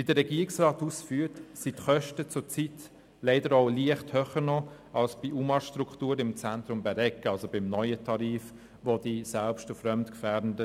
Wie der Regierungsrat ausführt, sind die Kosten zurzeit leider leicht höher als bei den UMA-Strukturen im Zentrum Bäregg.